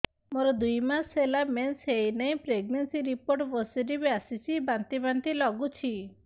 ମୋର ଦୁଇ ମାସ ହେଲା ମେନ୍ସେସ ହୋଇନାହିଁ ପ୍ରେଗନେନସି ରିପୋର୍ଟ ପୋସିଟିଭ ଆସିଛି ବାନ୍ତି ବାନ୍ତି ଲଗୁଛି